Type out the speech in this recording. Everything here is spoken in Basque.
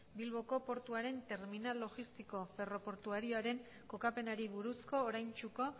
bilboko portuaren terminal logistiko ferroportuarioaren kokapenari buruzko oraintsuko